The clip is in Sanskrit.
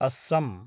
अस्सं